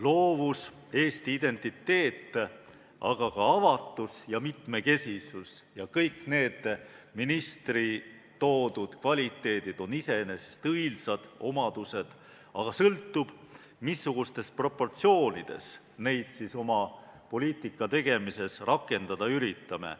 Loovus, rahvuslik identiteet, aga ka avatus ja mitmekesisus ja kõik need ministri nimetatud väärtused on iseenesest õilsad omadused, aga sõltub, missugustes proportsioonides me neid oma poliitika tegemises rakendada üritame.